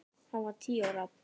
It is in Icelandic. Hún var tíu ára.